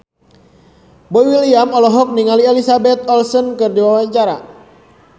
Boy William olohok ningali Elizabeth Olsen keur diwawancara